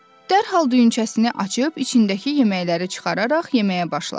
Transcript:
Dərhal düyünçəsini açıb içindəki yeməkləri çıxararaq yeməyə başladı.